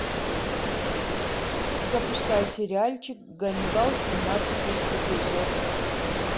запускай сериальчик ганнибал семнадцатый эпизод